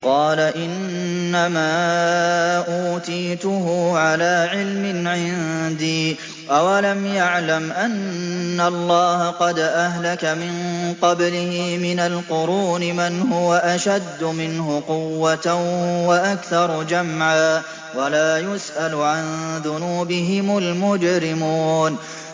قَالَ إِنَّمَا أُوتِيتُهُ عَلَىٰ عِلْمٍ عِندِي ۚ أَوَلَمْ يَعْلَمْ أَنَّ اللَّهَ قَدْ أَهْلَكَ مِن قَبْلِهِ مِنَ الْقُرُونِ مَنْ هُوَ أَشَدُّ مِنْهُ قُوَّةً وَأَكْثَرُ جَمْعًا ۚ وَلَا يُسْأَلُ عَن ذُنُوبِهِمُ الْمُجْرِمُونَ